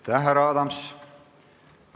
Aitäh, härra Adams!